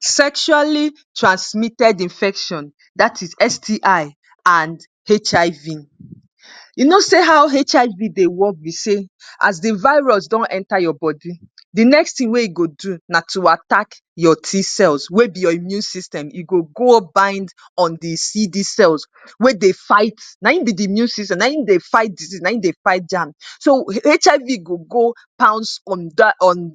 Sexually transmitted infection dat is STI and HIV. You know sey how HIV dey work be sey, as the virus don enter your body, the next thing wey e go do na to attact your T-cells wey be your immune system. E go up bind on the CD cells wey dey fight, na im be the immune system na him dey fight disease, na im dey fight germs. So, HIV go go bounce on dat on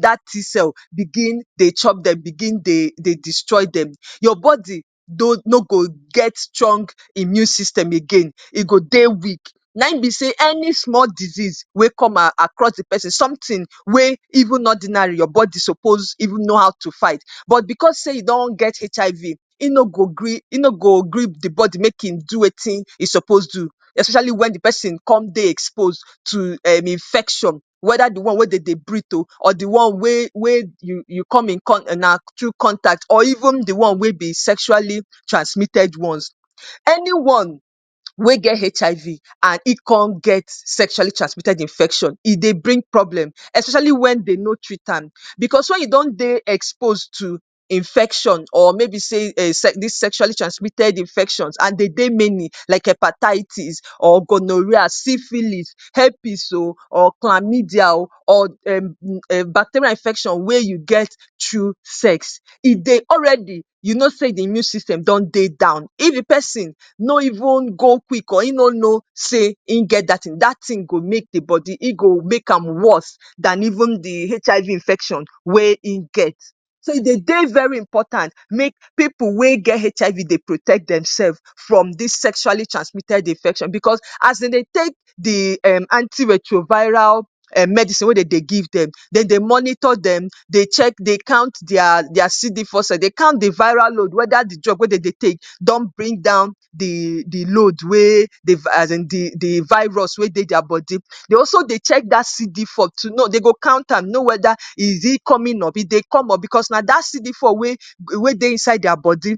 dat T-cell begin dey chop dem, begin dey dey destroy dem. Your body no no go get strong immune system again. E go dey weak. Na im be sey any small disease wey come across the pesin, something wey even ordinarily, your body suppose even know how to fight but because sey you don get HIV, e no go gree, im no go gree the body make e do wetin e suppose do especially when the pesin con de expose to um infection. Weda the one wey dem dey breadth oh or the one wey wey you come in na through contact or even the one wey be sexually transmitted ones. Any one wey get HIV and e con get sexually transmitted infection. E dey bring problem especially when they no treat am. Because when you don dey expose to infection or maybe sey um dis sexually transmitted infection and de dey many, like hepatitis or gonorrhoea, syphilis, herpes oh or chlamydia or um bacterial infection weyn you get through sex. E dey already, you know sey the immune system don dey down. If the pesin no even go quick or e no know sey im get dat thing, dat thing go make the body, e go make am worst dan even the HIV infection wey im get. So, e dey dey very important make pipu wey get HIV dey protect demself from des sexually transmitted infection because as de dey take the um anti-retroviral medicine wey dey give dem. De dey monitor dem, dey check, dey count their their CD-four cell, dey count their viral load weda the drug wey de dey take don bring down the the load wey as in the the virus wey dey their body. They also dey check dat CD-four to know, they go count am, know weda e, is e coming up? e dey come up? because na dat CD-four wey wey dey inside their body.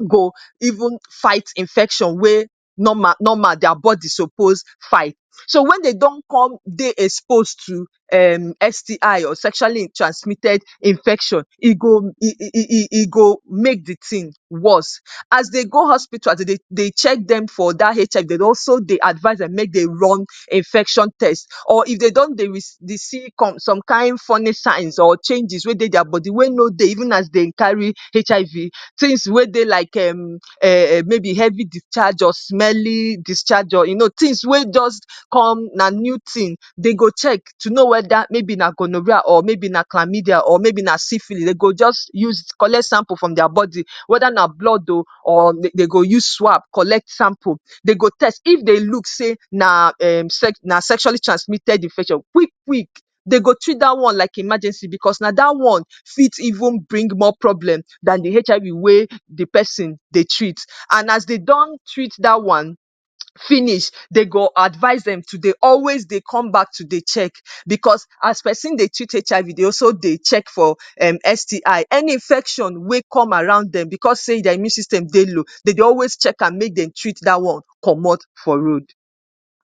You go even fight infection wey normal normal their body suppose fight. So, when they con don dey expose to um STI or Sexually transmitted infection, e go e e go make the thing worst. As they go hospital, as de dey check dem for dat HIV, de dey also dey advise dem make dem run infection test. or if they don dey receive some kind funny sign or changes wey dey their body wey no dey even as they carry HIV. Things wey dey like um maybe heavy discharge or smelling discharge oh. You know things wey just come, na new thing. De go check to know weda na gonorrhoea or maybe na chlamydia or maybe na syphilis. They go just use collect sample from their body. Weda na blood oh or they go use swap collect sample. They go test, if they look sey na um sexually transmitted infection quick quick, de go treat dat one like emergency because na dat one fit even bring more problem dan the HIV wey the pesin dey treat. And as they don treat dat one finish, they go advise dem to dey also dey come back to dey check because as pesin dey treat HIV, they also dey check for STI. Any infection wey come around dem because sey their immune system dey low. De dey always check am make dem treat dat one comot for road.